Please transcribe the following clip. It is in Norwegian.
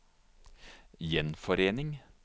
gjenforening